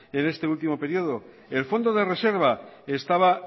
en este último periodo el fondo de reserva estaba